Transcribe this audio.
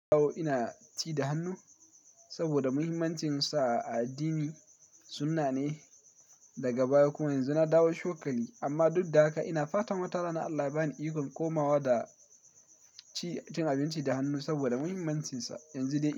Awo ina ci da hannu saboda muhimmancinsa a addini sunna ne. Daga baya kuma yanzu na dawo shopping amma duk da haka ina fatan wata rana Allah ba ni ikon komawa da cin abinci da hannu saboda muhimmancinsa. Yanzu dai.